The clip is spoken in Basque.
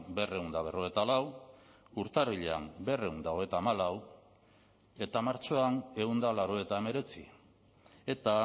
berrehun eta berrogeita lau urtarrilean berrehun eta hogeita hamalau eta martxoan ehun eta laurogeita hemeretzi eta